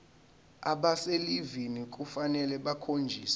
abaselivini kufanele bakhonjiswe